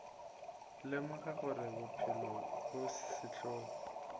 lemoga gore bophelo bo sehlogo